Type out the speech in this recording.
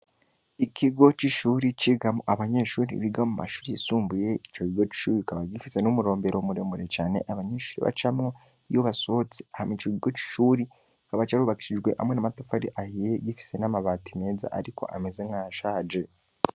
Ikigo c'ishuri, cigamwo abanyeshuri biga mu mashuri yisumbuye, ico kigo c'ishuri kikiba gifise n'umurombero muremure cane, abanyeshuri bacamwo iyo basohotse; hama ico kigo c'ishuri kikaba carubakishijwe hamwe n'amatafari ahiye, gifise n'amabati meza ariko ameze nk'ayashaje.